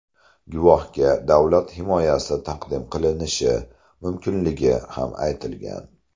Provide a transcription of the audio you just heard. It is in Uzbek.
Guvohga davlat himoyasi taqdim qilinishi mumkinligi ham aytilgan.